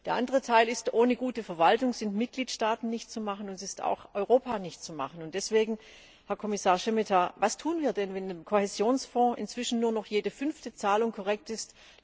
Der andere Teil ist ohne gute Verwaltung in den Mitgliedstaaten nicht zu machen, und es ist auch in Europa nicht zu machen. Deswegen, Herr Kommissar Šemeta, was tun wir denn, wenn im Kohäsionsfonds inzwischen nur noch jede fünfte Zahlung korrekt ist?